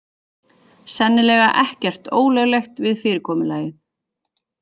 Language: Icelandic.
Sennilega ekkert ólöglegt við fyrirkomulagið